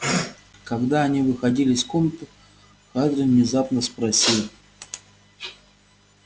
когда они выходили из комнаты хардин внезапно спросил